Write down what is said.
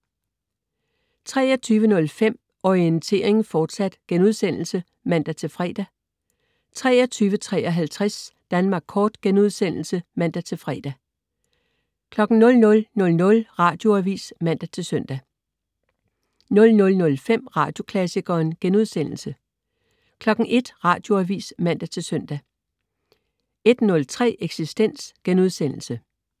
23.05 Orientering, fortsat* (man-fre) 23.53 Danmark Kort* (man-fre) 00.00 Radioavis (man-søn) 00.05 Radioklassikeren* 01.00 Radioavis (man-søn) 01.03 Eksistens*